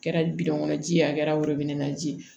Kɛra kɔnɔ ji ye a kɛra ji ye